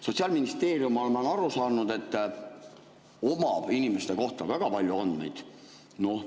Sotsiaalministeerium, ma olen aru saanud, omab inimeste kohta väga palju andmeid.